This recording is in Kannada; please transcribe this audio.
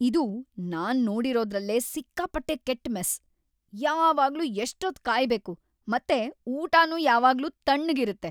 ಇದು ನಾನ್ ನೋಡಿರೋದ್ರಲ್ಲೇ ಸಿಕ್ಕಾಪಟ್ಟೆ ಕೆಟ್ಟ ಮೆಸ್. ಯಾವಾಗ್ಲೂ ಎಷ್ಟೊತ್ತ್ ಕಾಯ್ಬೇಕು ಮತ್ತೆ ಊಟನೂ ಯಾವಾಗ್ಲೂ ತಣ್ಣಗಿರತ್ತೆ.